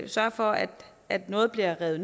sørge for at at noget bliver revet